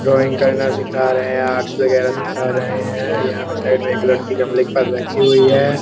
drawing करने सीखा रहे है आर्ट्स वगेरा सीखा रहे है यहाँ साइड में लड़की गमले के पास बैठी हुई है |